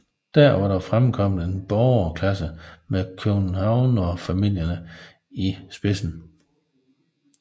Dér var der fremkommet en borgerklasse med købmandsfamilierne i spidsen